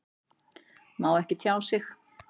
Má ekki tjá sig